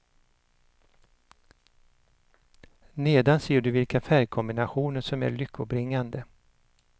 Nedan ser du vilka färgkombinationer som är lyckobringande.